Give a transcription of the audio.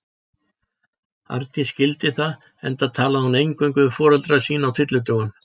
Arndís skildi það, enda talaði hún eingöngu við foreldra sína á tyllidögum.